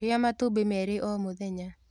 Rĩa matumbĩmerĩo mũthenya.